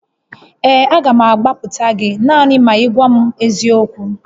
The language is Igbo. Ee, a ga m agbapụta gị naanị ma ị gwa m eziokwu